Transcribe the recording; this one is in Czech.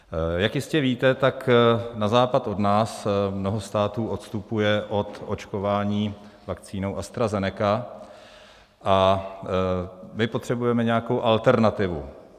Jak jistě víte, tak na západ od nás mnoho států odstupuje od očkování vakcínou AstraZeneca a my potřebujeme nějakou alternativu.